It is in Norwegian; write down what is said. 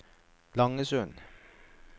Langesund